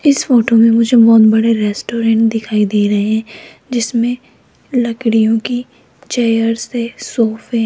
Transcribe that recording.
इस फोटो मे मुझे बहोत बड़े रेस्टोरेंट दिखाई दे रहे है जिसमे लकड़ियो के चेयरस् है सोफे --